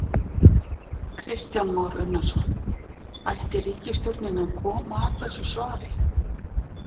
Kristján Már Unnarsson: Ætti ríkisstjórnin að koma að þessu svari?